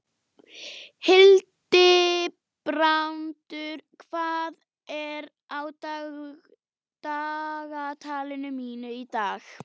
Hildibrandur, hvað er á dagatalinu mínu í dag?